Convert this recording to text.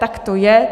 Tak to je.